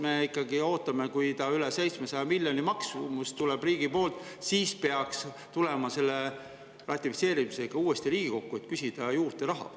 Me ikkagi ootame, et kui selle maksumus tuleb riigile üle 700 miljoni, siis peaks tulema ratifitseerimisega uuesti Riigikokku, et raha juurde küsida.